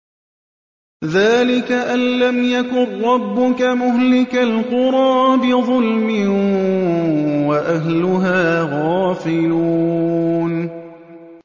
ذَٰلِكَ أَن لَّمْ يَكُن رَّبُّكَ مُهْلِكَ الْقُرَىٰ بِظُلْمٍ وَأَهْلُهَا غَافِلُونَ